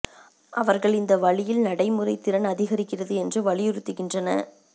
அவர்கள் இந்த வழியில் நடைமுறை திறன் அதிகரிக்கிறது என்று வலியுறுத்துகின்றன